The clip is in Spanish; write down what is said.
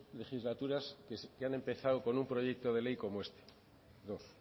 legislaturas que han empezado con un proyecto de ley como este dos